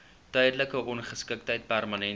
tydelike ongeskiktheid permanente